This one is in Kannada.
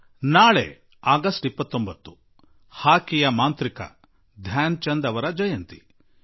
ನಾಳೆ ಆಗಸ್ಟ್ 29 ಹಾಕಿ ಆಟದ ಮೋಡಿಗಾರ ಧ್ಯಾನ್ ಚಂದ್ ಜೀ ಅವರ ಹುಟ್ಟುಹಬ್ಬ